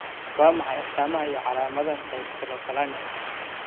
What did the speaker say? Waa maxay astamaha iyo calaamadaha dystelephalangka?